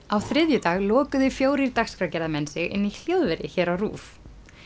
á þriðjudag lokuðu fjórir dagskrárgerðarmenn sig inni í hljóðveri hér á RÚV